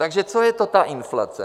Takže co je to ta inflace?